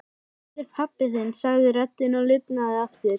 Hvað heitir pabbi þinn? sagði röddin og lifnaði aftur.